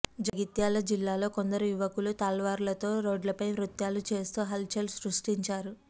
జగిత్యాల జిల్లాలో కొందరు యువకులు తల్వార్లతో రోడ్లపై నృత్యాలు చేస్తూ హల్ చల్ సృష్టించారు